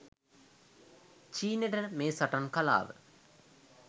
චීනෙට මේ සටන් කලාව